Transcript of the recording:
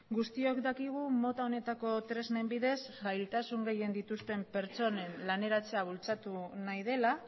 guztiok dakigu mota honetako tresnen bidez zailtasun gehien dituzten pertsonen laneratzea bultzatu nahi dela